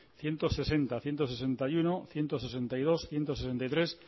ciento sesenta ciento sesenta y uno ciento sesenta y dos ciento sesenta y tres